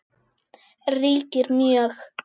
ríkir mjög.